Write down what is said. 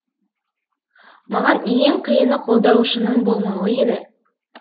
маған ең қиыны қолдаушының болмауы еді